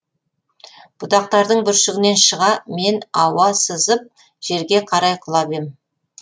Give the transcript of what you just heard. бұтақтардың бүршігінен шыға мен ауа сызып жерге қарай құлап ем